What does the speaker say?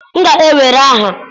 m ga-ewere aha!